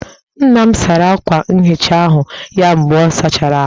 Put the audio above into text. Nna m sara akwa nhicha ahụ ya mgbe ọ sachara ahụ